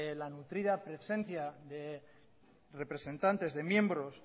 la nutrida presencia de representantes de miembros